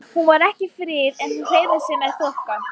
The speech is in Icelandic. Hún var ekki fríð en hún hreyfði sig með þokka.